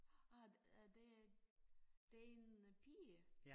Ah er det din øh pige